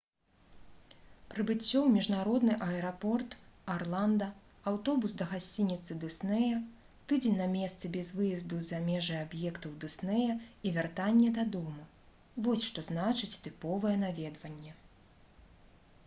прыбыццё ў міжнародны аэрапорт арланда аўтобус да гасцініцы дыснея тыдзень на месцы без выезду за межы аб'ектаў дыснея і вяртанне дадому — вось што значыць «тыповае» наведванне